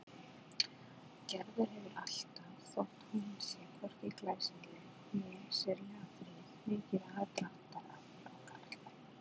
Gerður hefur alltaf, þótt hún sé hvorki glæsileg né sérlega fríð, mikið aðdráttarafl á karlmenn.